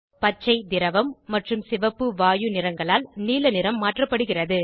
பச்சைதிரவம் மற்றும் சிவப்புவாயு நிறங்களால் நீல நிறம் மாற்றப்படுகிறது